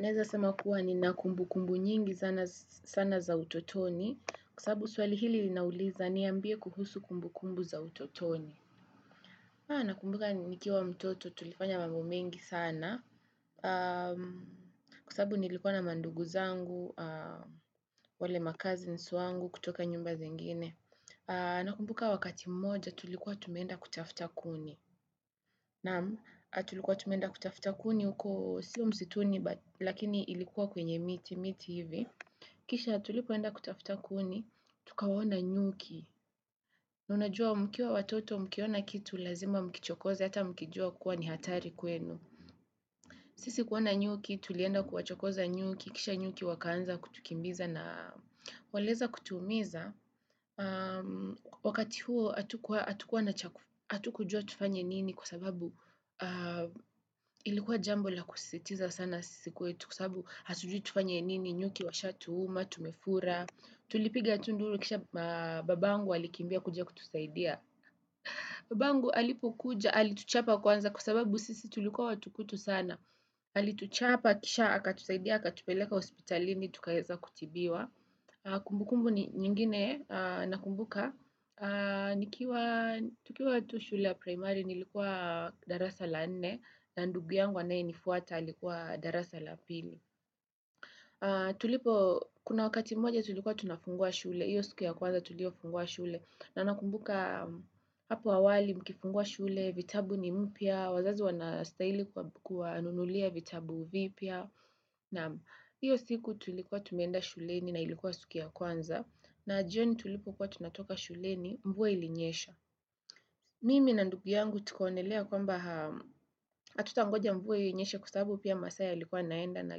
Naeza sema kuwa nina kumbukumbu nyingi sana za utotoni kwa sababu swali hili linauliza niambie kuhusu kumbukumbu za utotoni. Nakumbuka nikiwa mtoto tulifanya mambo mengi sana kwa sababu nilikuwa na mandugu zangu, wale macousins wangu kutoka nyumba zingine. Nakumbuka wakati mmoja tulikuwa tumeenda kutafuta kuni. Naam, tulikuwa tumeenda kutafuta kuni huko sio msituni, lakini ilikuwa kwenye miti, miti hivi. Kisha tulipoenda kutafuta kuni, tukawaona nyuki. Na unajua mkiwa watoto mkiona kitu lazima mkichokoze, hata mkijua kuwa ni hatari kwenu. Sisi kuwaona nyuki, tulienda kuwachokoza nyuki, kisha nyuki wakaanza kutukimbiza na waliweza kutuumiza. Wakati huo hatukujua tufanye nini kwa sababu ilikuwa jambo la kusisitiza sana sisi kwetu Kwa sababu hatujui tufanye nini nyuki, washatuuma, tumefura Tulipiga tu nduru kisha babangu alikimbia kuja kutusaidia Babangu alipokuja, alituchapa kwanza kwa sababu sisi tulikuwa watukutu sana Alituchapa kisha akatusaidia, akatupeleka hospitalini, tukaweza kutibiwa Kumbukumbu nyingine nakumbuka tukiwa tu shule ya primary nilikuwa darasa la nne na ndugu yangu anayenifuata alikuwa darasa la pili Tulipo kuna wakati mmoja tulikuwa tunafungua shule hiyo siku ya kwanza tuliyofungua shule na nakumbuka hapo awali mkifungua shule vitabu ni mpya, wazazi wanastahili kuwanunulia vitabu vipya na hiyo siku tulikuwa tumeenda shuleni na ilikuwa siku ya kwanza na jioni tulipokuwa tunatoka shuleni mvua ilinyesha Mimi na ndugu yangu tukaonelea kwamba hatutangoja mvua hiyo inyeshe kwa sababu pia masaa yalikuwa yanaenda na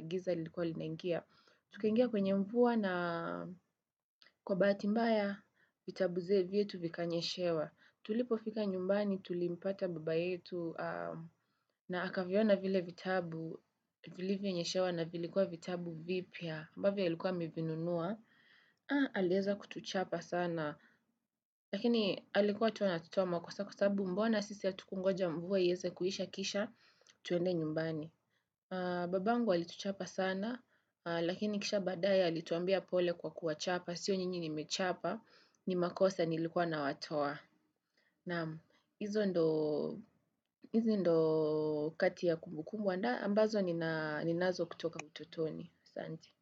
giza lilikuwa linangia Tukangia kwenye mvua na kwa bahati mbaya vitabu vyetu vikanyeshewa Tulipofika nyumbani tulimpata baba yetu na akaviona vile vitabu Vilivyonyeshewa na vilikuwa vitabu vipya ambavyo alikuwa amevinunua, aliweza kutuchapa sana Lakini alikuwa tu anatutoa makosa kwa sababu mbona sisi hatukungoja mvua iweze kuisha kisha Twende nyumbani Babangu alituchapa sana Lakini kisha baadaye alituambia pole kwa kuwachapa Sio nyinyi nimechapa ni makosa nilikuwa nawatoa Naam, hizo ndizo kati ya kumbukumbu ambazo ninazo kutoka ututoni. Asanti.